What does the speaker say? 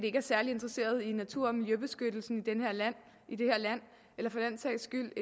ikke er særlig interesserede i natur og miljøbeskyttelsen i det her land eller for den sags skyld